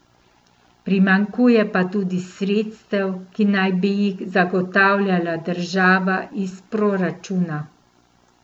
Primanjkuje pa tudi sredstev, ki naj bi jih zagotavljala država iz proračuna.